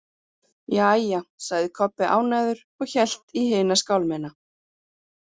Jæja, sagði Kobbi ánægður og hélt í hina skálmina.